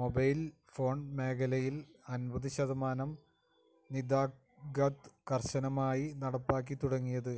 mobile phone മേഖലയില് അന്പത് ശതമാനം നിതാഖാത് കര്ശനമായി നടപ്പാക്കിത്തുടങ്ങിയത്